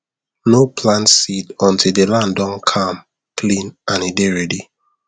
no plant seed until the land don calm clean and e dey ready